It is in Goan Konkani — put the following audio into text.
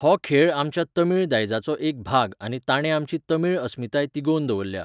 हो खेळ आमच्या तमीळ दायजाचो एक भाग आनी ताणे आमची तमीळ अस्मिताय तिगोवन दवरल्या.